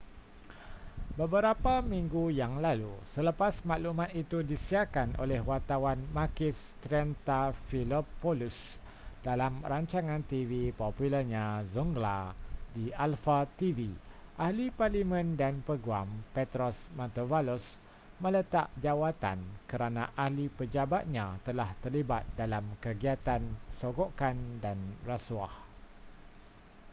beberapa minggu yang lalu selepas maklumat itu disiarkan oleh wartawan makis triantafylopoulos dalam rancangan tv popularnya zoungla di alpha tv ahli parlimen dan peguam petros mantouvalos meletak jawatan kerana ahli pejabatnya telah terlibat dalam kegiatan sogokan dan rasuah